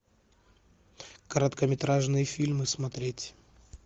короткометражные фильмы смотреть